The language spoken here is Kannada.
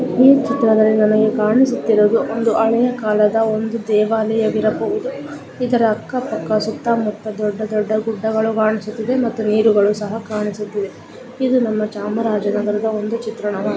ಈ ಚಿತ್ರದಲ್ಲಿ ನಮಗೆ ಕಾಣಿಸುತ್ತಿರುವುದು ಒಂದು ಹಳೆಯ ಕಾಳಧ ಒಂದು ದೇವಾಲಯ ವಿರಬಹುದು. ಇದರ ಅಕ್ಕ ಪಕ್ಕ ಸುತ್ತಾ ಮುತ್ತಾ ದೊಡ್ಡ ದೊಡ್ಡ ಗುಡ್ಡಗಳು ಕಾಣಿಸುತ್ತಿದೆ ಮತ್ತೆ ನೀರುಗಳು ಸಹ ಕಾಣಿಸುತ್ತಿದೆ. ಇದು ನಮ್ಮ ಚಾಮರಾಜನಗರದ ಒಂದು ಚಿತ್ರಣವಾ --